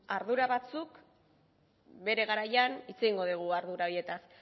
ardura batzuk bere garaian hitz egingo degu ardura horietaz